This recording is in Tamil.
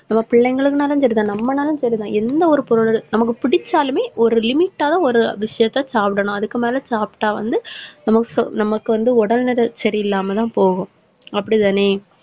நம்ம பிள்ளைங்களுக்குன்னாலும் சரிதான், நம்மனாலும் சரிதான், எந்த ஒரு நமக்கு பொருள் பிடிச்சாலுமே ஒரு limit ஆன ஒரு விஷயத்த சாப்பிடணும். அதுக்கு மேல சாப்பிட்டா வந்து நமக்கு சொ~ நமக்கு வந்து உடல்நிலை சரியில்லாமதான் போகும், அப்படித்தானே?